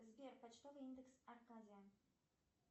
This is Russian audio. сбер почтовый индекс аркадия